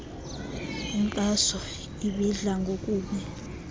inxaso ibidla ngokubi